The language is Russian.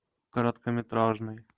короткометражный